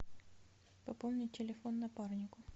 пополнить телефон напарнику